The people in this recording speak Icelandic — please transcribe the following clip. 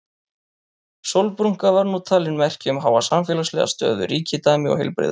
Sólbrúnka var nú talin merki um háa samfélagslega stöðu, ríkidæmi og heilbrigði.